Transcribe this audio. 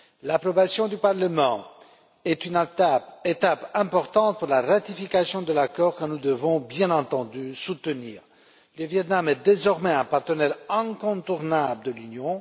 L'approbation du Parlement est une étape importante pour la ratification de l'accord que nous devons bien entendu soutenir. Le Viêt Nam est désormais un partenaire incontournable de l'Union.